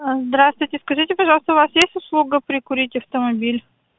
здравствуйте скажите пожалуйста у вас есть услуга прикурить автомобиль